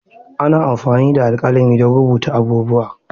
Ana amfani da alƙalami don rubuta abubuwa.